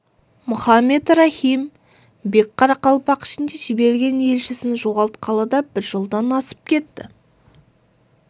мұхаммед рахим бек қарақалпақ ішінде жіберген елшісін жоғалтқалы да бір жылдан асып кетті